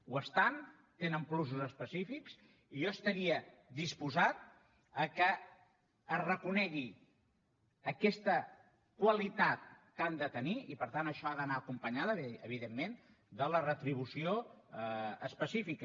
ho estan tenen plusos específics i jo estaria disposat que es reconegui aquesta qualitat que han de tenir i per tant això ha d’anar acompanyat evidentment de la retribució específica